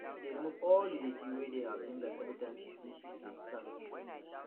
she dey remove all the dirty wey dey her fingers everytime she finish to dey plant